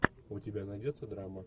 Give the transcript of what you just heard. у тебя найдется драма